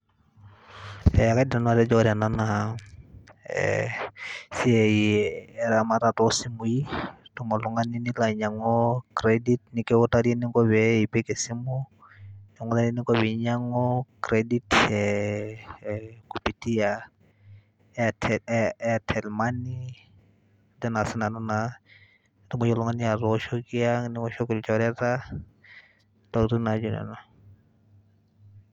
Eeeh kaidim nanu atejo ore ena naa ee esiai eramata too simui, itum oltung'ani nilo ainyang'u credit nekiutari eninko pee epik esimu, nekiutakini eninko pee inyang'u credit ee kupitia Aitel Airtel money, ajo naa sinanu naa etumoki oltung'ani atooshoki, niwoshoki ilchoreta ntokitin naijo nena.